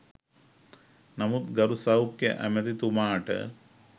නමුත් ගරු සෞඛ්‍ය ඇමතිතුමාට